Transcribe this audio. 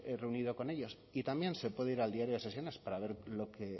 reunido con ellos y también se puede ir al diario de sesiones para ver